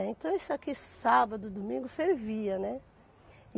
Então, isso aqui sábado e domingo fervia, né?